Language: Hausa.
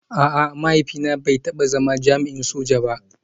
A'a, mahaifina bai taba zama jami'in soja ba